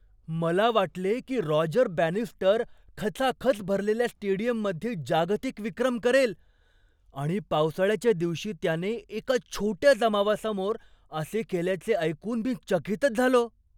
मला वाटले की रॉजर बॅनिस्टर खचाखच भरलेल्या स्टेडियममध्ये जागतिक विक्रम करेल आणि पावसाळ्याच्या दिवशी त्याने एका छोट्या जमावासमोर असे केल्याचे ऐकून मी चकितच झालो.